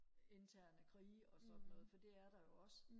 interne krige og sådan noget for det er der jo også